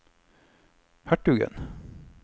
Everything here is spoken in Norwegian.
hertugen